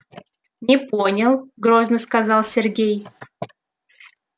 не понял грозно сказал сергей